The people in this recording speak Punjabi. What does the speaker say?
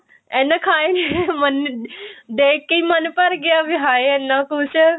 ਇੰਨਾ ਖਾਇਆ ਹੀ ਨੀ ਦੇਖ ਕੇ ਹੀ ਮੰਨ ਭਰ ਗਿਆ ਵੀ ਹਾਏ ਇੰਨਾ ਕੁੱਝ